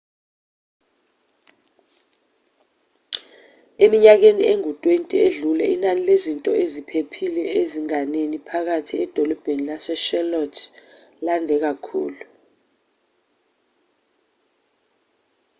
eminyakeni engu-20 edlule inani lezinto eziphephile ezinganeni phakathi edolobheni lase-charlotte lande kakhulu